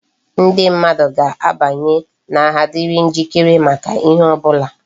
Ndi mmadu ga abanye na agha diri njikere maka ihe obula